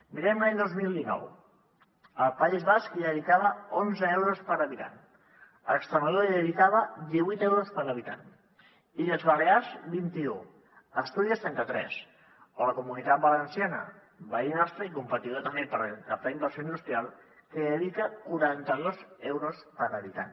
mirem l’any dos mil dinou el país basc hi dedicava onze euros per habitant extremadura hi dedicava divuit euros per habitant illes balears vint un astúries trenta tres la comunitat valenciana veí nostre i competidor també per captar inversió industrial hi dedica quaranta dos euros per habitant